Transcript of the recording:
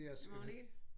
Magnet?